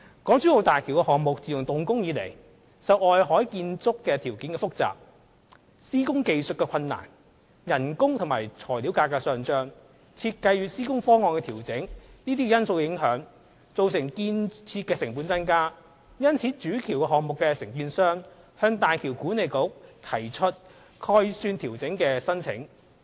港珠澳大橋項目自動工以來，受外海建築條件複雜、施工技術困難、工資與材料價格上漲、設計與施工方案調整等因素影響，造成建設成本增加；主橋項目承建商因而向大橋管理局提出概算調整的申請。